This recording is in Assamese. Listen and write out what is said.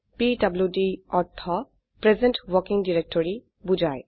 পিডিডি অৰ্থ প্ৰেজেণ্ট ৱৰ্কিং ডাইৰেক্টৰী বোঝায়